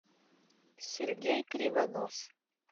сергей кривонос